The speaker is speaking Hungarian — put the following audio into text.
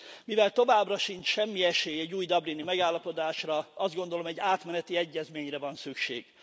Mivel továbbra sincs semmi esély egy új dublini megállapodásra, azt gondolom, egy átmeneti egyezményre van szükség.